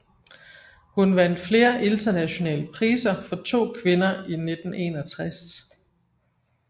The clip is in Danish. Hun vandt flere internationale priser for To kvinder i 1961